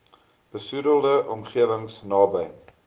besoedelde omgewings naby